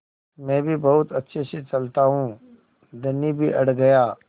मैं भी बहुत अच्छे से चलता हूँ धनी भी अड़ गया